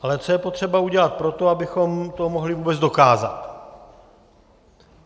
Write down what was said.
Ale co je potřeba udělat pro to, abychom to mohli vůbec dokázat?